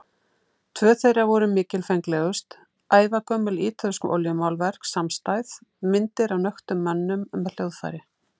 Tvö þeirra voru mikilfenglegust, ævagömul ítölsk olíumálverk samstæð, myndir af nöktum mönnum með hljóðfæri.